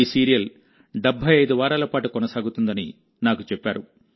ఈ సీరియల్ 75 వారాల పాటు కొనసాగుతుందని నాకు చెప్పారు